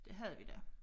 Det havde vi da